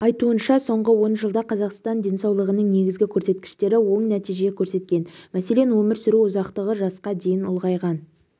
айтуынша соңғы он жылда қазақстан іалқы денсаулығының негізгі көрсеткіштері оң нәтиже көрсеткен мәселен өмір сүру ұзақтығы жасқа дейін ұлғайған